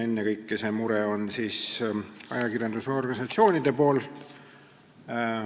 Ennekõike on see mure ajakirjandusorganisatsioonidel.